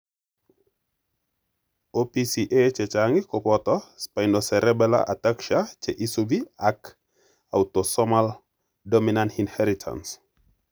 OPCA chechng kopoto spinocerebellar ataxia che isupi ak autosomal dominant inheritance.